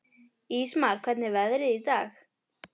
Ísmar, hvernig er veðrið í dag?